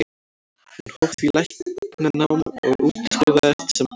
Hann hóf því læknanám og útskrifaðist sem barnalæknir.